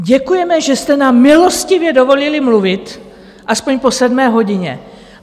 Děkujeme, že jste nám milostivě dovolili mluvit aspoň po sedmé hodině.